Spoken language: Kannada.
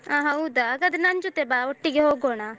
ಆ ಹೌದಾ ಹಾಗಾದ್ರೆ ನನ್ಜೊತೆ ಬಾ ಒಟ್ಟಿಗೆ ಹೋಗೋಣ.